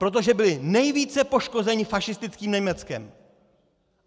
Protože byly nejvíce poškozeny fašistickým Německem.